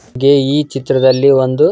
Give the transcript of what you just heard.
ಗೆ ಈ ಚಿತ್ರ ದಲ್ಲಿ ಒಂದು --